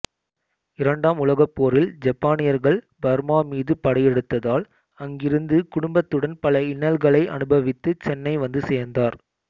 இரண்டாம் உலகப்போரில் ஜப்பானியர்கள் பர்மாமீது படையெடுத்ததால் அங்கிருந்து குடும்பத்துடன் பல இன்னல்களை அனுபவித்து சென்னை வந்து சேர்ந்தார்